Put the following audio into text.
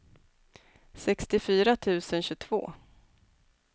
sextiofyra tusen tjugotvå